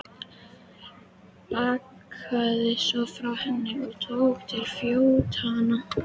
Bakkaði svo frá henni og tók til fótanna.